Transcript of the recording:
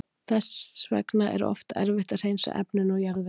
Þess vegna er oft erfitt að hreinsa efnin úr jarðveginum.